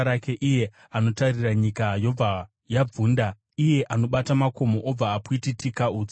iye anotarira nyika, yobva yabvunda, iye anobata makomo obva apwititika utsi.